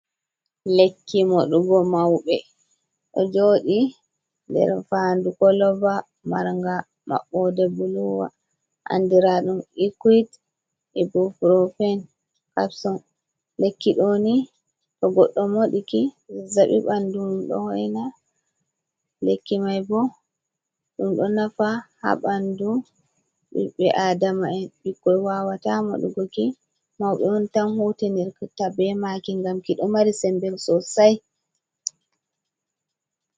Lekki Moɗugo mauɓe, ɗo jodi nder fandu Koloba Marnga Mabɓode buluwa andira ɗum ikwet ibu purifen kapson. Lekki ɗoni to godɗo moɗiki zazzaɓi ɓandumum ɗo hoina. Lekki mai bo ɗum ɗo nafa ha ɓandu ɓiɓbe adama'en ɓikkoi wawata maɗugoki mauɓe'on tan hutinirta be maki ngam kiɗo mari Sembe Sosai.